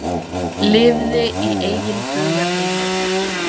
Lifði í eigin hugarheimi.